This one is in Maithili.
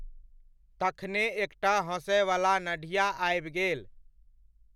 तखने एकटा हँसयवला नढ़िया आबि गेल।